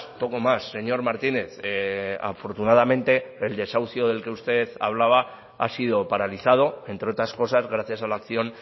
poco más señor martínez afortunadamente el desahucio del que usted hablaba ha sido paralizado entre otras cosas gracias a la acción